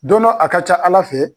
Don dɔ a ka ca Ala fɛ